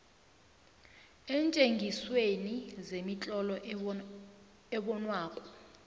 eentjengisweni zemitlolo ebonwako